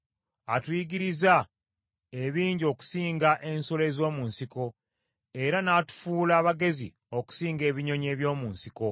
atuyigiriza ebingi okusinga ensolo ez’omu nsiko, era n’atufuula bagezi okusinga ebinyonyi eby’omu nsiko?